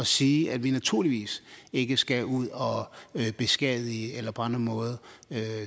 sige at vi naturligvis ikke skal ud og beskadige eller på andre måder